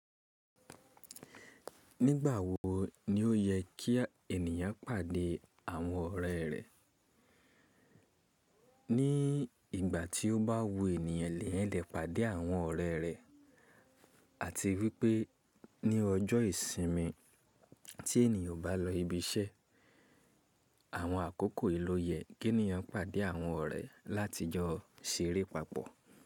Nígbà wo ni ó yẹ kí ènìyàn pàdé àwọn ọ̀rẹ́ rẹ̀? Ní ìgbà tí ó bá wu ènìyàn lẹ́yan lè pàdé àwọn ọ̀rẹ́ rẹ̀ àti wípé ní ọjọ́ ìsinmi tí ènìyàn ó bá lọ ibi iṣẹ́, àwọn àkókò yí ló yẹ kí ènìyàn pàdé àwọn ọ̀rẹ́ láti jọ ṣeré papọ̀.